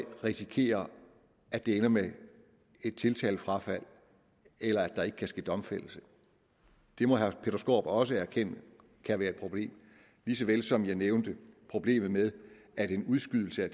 risikerer at det ender med et tiltalefrafald eller at der ikke kan ske domfældelse det må herre peter skaarup også erkende kan være et problem lige så vel som jeg nævnte problemet med at en udskydelse af